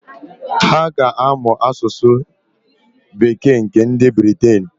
Ha ga-amụ asụsụ bekee nke nd Briten.